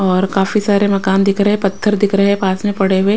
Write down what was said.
और काफी सारे मकान दिख रहे हैं पत्थर दिख रहे हैं पास में पड़े हुए।